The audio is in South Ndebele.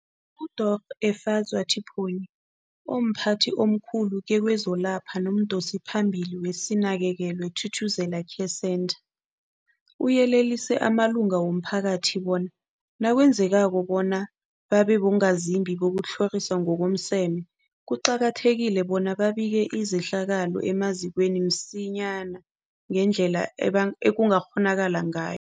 UDorh Efadzwa Tipoy, omphathi omkhulu kezokwelapha nomdosiphambili weSinakekelwe Thuthuzela Care Centre, uyelelise amalunga womphakathi bona nakwenzekako bona babe bongazimbi bokutlhoriswa ngokomseme, kuqakathekile bona babike izehlakalo emazikweni msinyana ngendlela eban ekungakghonakala ngayo.